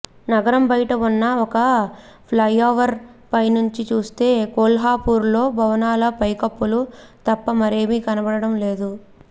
నగరం బయట ఉన్న ఒక ఫ్లైఓవర్ పైనుంచి చూస్తే కొల్హాపూర్లో భవనాలు పైకప్పులు తప్ప మరేమీ కనబడడం లేదు